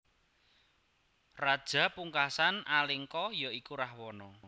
Raja pungkasan Alengka ya iku Rahwana